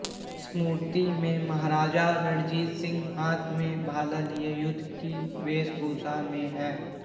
इस मूर्ति में महाराजा रणजीत सिंह हाथ में भाला लिए युद्ध की वेशभूषा में है